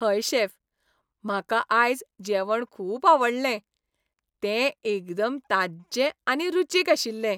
हय शेफ, म्हाका आयज जेवण खूब आवडलें. तें एकदम ताज्जें आनी रुचीक आशिल्लें.